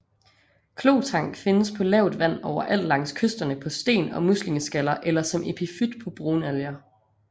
Klotang findes på lavt vand overalt langs kysterne på sten og muslingeskaller eller som epifyt på brunalger